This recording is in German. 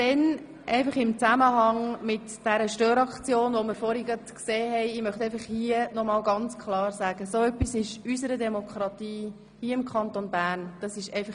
Nun noch zu dieser Störaktion: Ich möchte klar sagen, dass ein solches Verhalten unserer Demokratie im Kanton Bern Dienstag (Vormittag)